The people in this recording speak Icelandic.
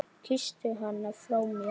Kysstu hana frá mér.